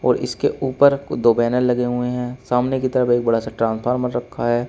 और इसके ऊपर दो बैनर लगे हुए हैं सामने की तरफ एक बड़ा सा ट्रांसफार्मर रखा है।